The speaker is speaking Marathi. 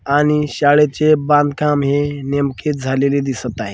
आणि शाळेचे बांधकाम हे नेमकेच झालेले दिसत आहे.